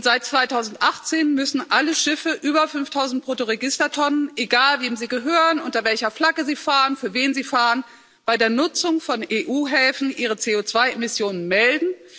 seit 2018 müssen alle Schiffe über 5000 Bruttoregistertonnen egal wem sie gehören, unter welcher Flagge sie fahren, für wen sie fahren bei der Nutzung von EU Häfen ihre CO2 Emissionen melden.